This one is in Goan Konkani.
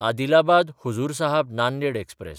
अदिलाबाद–हजूर साहब नांदेड एक्सप्रॅस